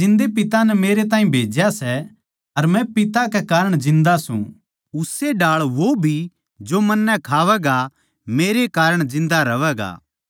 जिसा जिन्दै पिता नै मेरैताहीं भेज्या सै अर मै पिता कै कारण जिन्दा सूं उस्से ढाळ वो भी जो मन्नै खावैगा मेरै कारण जिन्दा रहवैगा